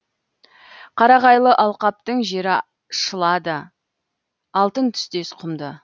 қарағайлы алқаптың жері шылады алтын түстес құмды